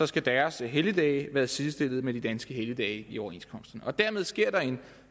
skal deres helligdage sidestilles med de danske helligdage i overenskomsterne dermed sker der en